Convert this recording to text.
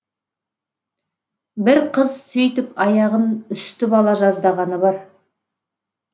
бір қыз сөйтіп аяғын үсітіп ала жаздағаны бар